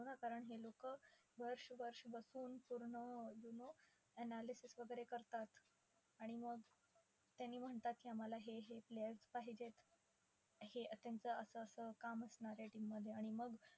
हो ना. कारण हे लोक वर्ष-वर्ष बसून पूर्ण अं you know analysis वगैरे करतात आणि मग त्यांनी म्हणतात की आम्हाला हे हे players पाहिजेत, हे त्यांचं असं असं काम असणारे team मध्ये आणि मग